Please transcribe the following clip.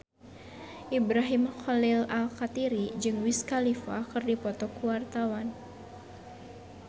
Ibrahim Khalil Alkatiri jeung Wiz Khalifa keur dipoto ku wartawan